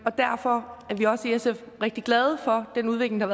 derfor er vi også i sf rigtig glade for den udvikling der